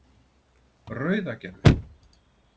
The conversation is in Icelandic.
Rauðagerði